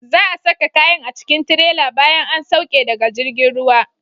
Za'a saka kayan a cikin tirela bayan an sauke daga jirgin ruwa.